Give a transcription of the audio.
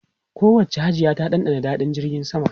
Kowacce Hajiya ta dandana daɗin jirgin sama.